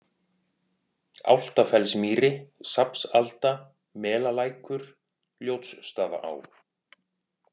Álftafellsmýri, Safnsalda, Melalækur, Ljótsstaðaá